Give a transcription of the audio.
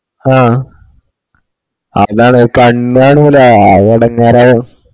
ആഹ് അതാണ് കണ്ണ് കാണൂല്ല അത് എടങ്ങേറാണ്